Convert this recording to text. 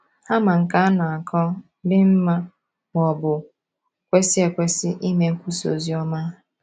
Ha ma nke a na - akọ, dị mma, ma ọ bụ kwesị ekwesị ime nkwusa oziọma.